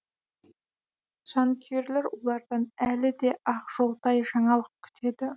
жанкүйерлер олардан әлі де ақжолтай жаңалық күтеді